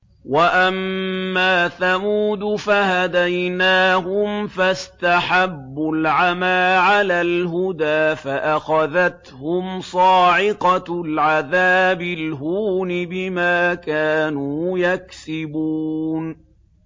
وَأَمَّا ثَمُودُ فَهَدَيْنَاهُمْ فَاسْتَحَبُّوا الْعَمَىٰ عَلَى الْهُدَىٰ فَأَخَذَتْهُمْ صَاعِقَةُ الْعَذَابِ الْهُونِ بِمَا كَانُوا يَكْسِبُونَ